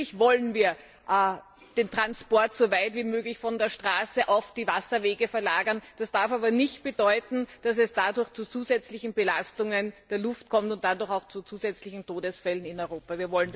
Natürlich wollen wir den Transport so weit wie möglich von der Straße auf die Wasserwege verlagern. Das darf aber nicht bedeuten, dass es dadurch zu zusätzlichen Belastungen der Luft kommt und dadurch auch zu zusätzlichen Todesfällen in Europa.